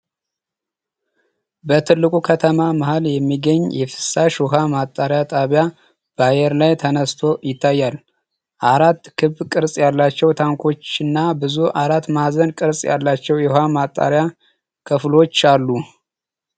በትልቁ ከተማ መሃል የሚገኝ የፍሳሽ ውሃ ማጣሪያ ጣቢያ በአየር ላይ ተነስቶ ይታያል። አራት ክብ ቅርጽ ያላቸው ታንኮችና ብዙ አራት ማዕዘን ቅርጽ ያላቸው የውሃ ማጣሪያ ክፍሎች አሉ።